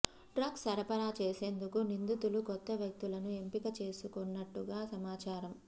drugs సరఫరా చేసేందుకు నిందితులు కొత్త వ్యక్తులను ఎంపిక చేసుకొన్నట్టుగా సమాచారం